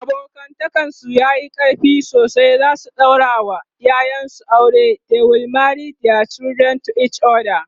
abokantakan su yayi ƙarfi sosai zasu daura wa ƴaƴan su aure ,they will marry thier children to each other